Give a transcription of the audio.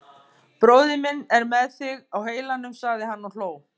Bróðir minn er með þig á heilanum sagði hann og hló.